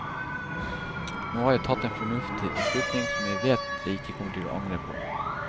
Nå har jeg tatt en fornuftig beslutning, som jeg vet jeg ikke kommer til å angre på.